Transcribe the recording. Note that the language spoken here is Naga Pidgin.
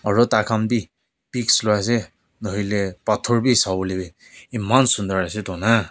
aro tai khan bi pics loiiase nahoilae pathor bi sawolae eman sunder ase toh na.